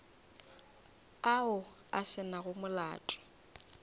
ao a se nago molato